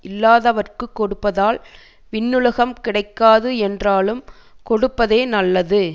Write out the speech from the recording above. இல்லாதவர்க்கு கொடுப்பதால் விண்ணுலகம் கிடைக்காது என்றாலும் கொடுப்பதே நல்லது